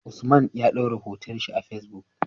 Usman ya dora hoton shi a Facebook